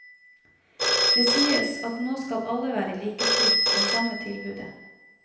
Det sies at nå skal alle være likestilt med samme tilbudet.